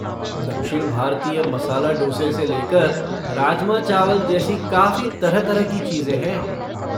दक्षिण भारतीय मसाला डोसे से लेकर राजमा चावल जैसी काफ़ी तरह तरह की चीज़ें है।